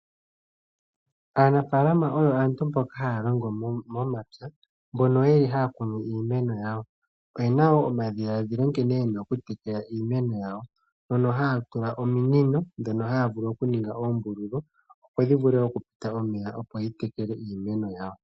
Aanafaalama oyo aantu mbo haya longo momapya mbono yeli haya kunu iimeno yawo. Oyena woo omadhiladhilo nkene yena oku tekela iimeno yawo. Ohaya longitha ominino dhono dhina oombululu opo dhi vule oku pita omeya opo ya tekele iimeno yawo.